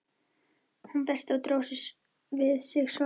Hann dæsti og dró við sig svarið.